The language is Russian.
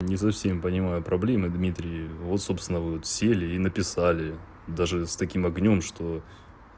не совсем понимаю проблемы дмитрий вот собственно будут сели и написали даже с таким огнём что